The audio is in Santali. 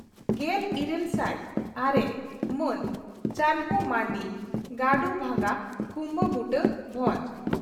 ᱾ᱜᱮᱞᱤᱨᱟᱹᱞ ᱥᱟᱭ ᱟᱨᱮ ᱹ ᱢᱟᱱ ᱪᱟᱱᱦᱩ ᱢᱟᱨᱱᱰᱤ, ᱜᱟᱰᱩ ᱵᱷᱟᱸᱜᱟ, ᱠᱩᱣᱟᱵᱩᱰᱟᱹ, ᱵᱷᱚᱸᱡᱽ